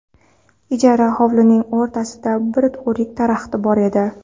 Ijara hovlining o‘rtasida bir o‘rik daraxti bor edi.